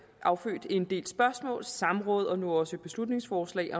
affødt en del spørgsmål samråd og nu også et beslutningsforslag